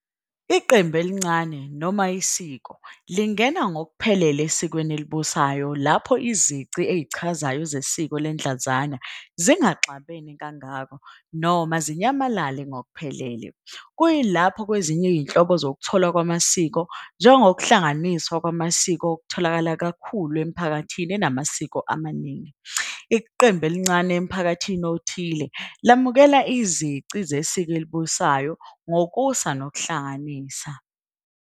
Iqembu elincane noma isiko lingena ngokuphelele esikweni elibusayo lapho izici ezichazayo zesiko ledlanzana zingaxabene kangako noma zinyamalale ngokuphelele, kuyilapho kwezinye izinhlobo zokutholwa kwamasiko njengokuhlanganiswa kwamasiko okutholakala kakhulu emiphakathini enamasiko amaningi, iqembu elincane emphakathini othile lamukela izici zesiko elibusayo ngokusanokuhlanganisa